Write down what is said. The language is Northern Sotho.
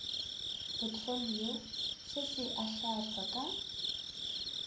potfolio se se ahlaahlwa ka